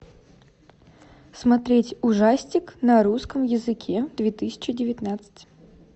смотреть ужастик на русском языке две тысячи девятнадцать